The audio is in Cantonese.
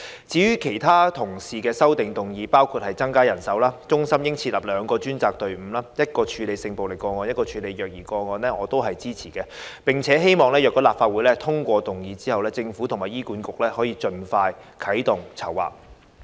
至於其他同事的修正案，包括增加人手、中心應設立兩個專責隊伍，一個處理性暴力個案，一個處理虐兒個案，我都支持，並希望如果立法會通過議案，政府及醫院管理局盡快啟動籌劃。